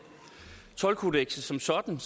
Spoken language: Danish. toldkodekset som sådan